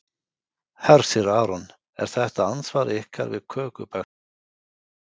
Hersir Aron: Er þetta andsvar ykkar við kökubakstri Bjarna Ben?